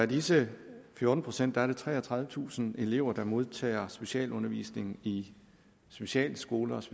disse fjorten procent er treogtredivetusind elever der modtager specialundervisning i specialskoler